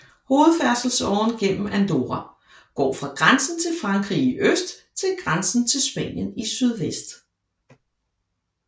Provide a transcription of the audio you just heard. Hovedfærdselsåren gennem Andorra går fra grænsen til Frankrig i øst til grænsen til Spanien i sydvest